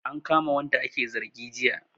An kama wanda ake zargi jiya